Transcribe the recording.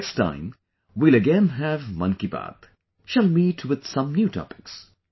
Next time we will again have 'Mann Ki Baat', shall meet with some new topics